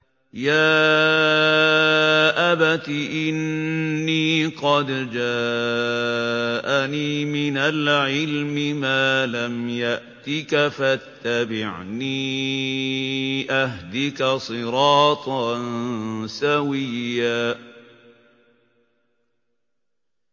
يَا أَبَتِ إِنِّي قَدْ جَاءَنِي مِنَ الْعِلْمِ مَا لَمْ يَأْتِكَ فَاتَّبِعْنِي أَهْدِكَ صِرَاطًا سَوِيًّا